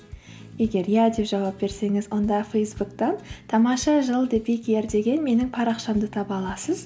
егер иә деп жауап берсеңіз онда фейсбуктен тамаша жыл деген менің парақшамды таба аласыз